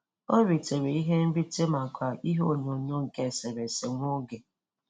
O ritere ihe nrite maka ihe onyonyo nke eserese nwa oge.